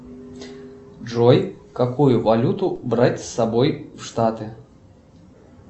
джой какую валюту брать с собой в штаты